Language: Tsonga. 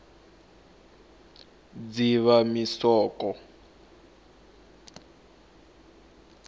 dzivamisoko